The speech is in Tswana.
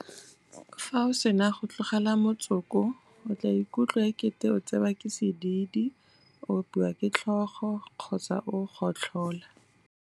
Fa o sena go tlogela motsoko o tla ikutlwa ekete o tsewa ke sedidi, o opiwa ke tlhogo kgotsa o gotlhola.